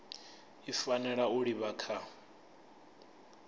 i fanela u livha kha